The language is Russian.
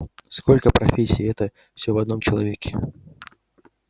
сколько профессий и это все в одном человеке